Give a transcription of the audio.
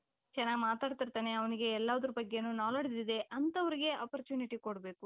ಚೆನ್ನಾಗಿ ಮಾತಾದ್ಕೊಂತಾನೆ ಅವನಿಗೆ ಎಲ್ಲಾದರ ಬಗ್ಗೆನು knowledge ಇದೆ ಅಂತವರಿಗೆ opportunity ಕೊಡ್ಬೇಕು .